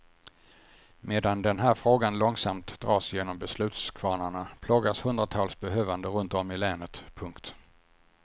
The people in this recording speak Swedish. Medan den här frågan långsamt dras genom beslutskvarnarna plågas hundratals behövande runt om i länet. punkt